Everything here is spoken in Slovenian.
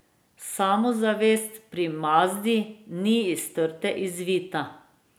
Samozavest pri Mazdi ni iz trte izvita.